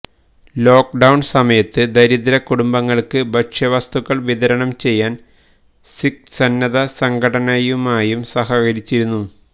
lockdown സമയത്ത് ദരിദ്ര കുടുംബങ്ങൾക്ക് ഭക്ഷ്യവസ്തുക്കൾ വിതരണം ചെയ്യാൻ സിഖ് സന്നദ്ധ സംഘടനയുമായും സഹകരിച്ചിരുന്നു